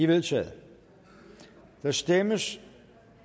vedtaget der stemmes